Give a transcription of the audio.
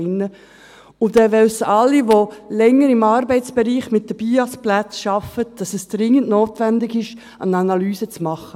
Alle, die länger im Arbeitsbereich mit den BIAS-Arbeitsplätzen arbeiten, wissen, dass es dringend notwendig ist, eine Analyse zu machen.